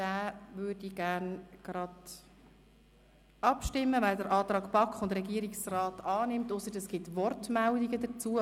Ich würde nun gerne gleich darüber abstimmen, es sei denn, es gebe Wortmeldungen dazu.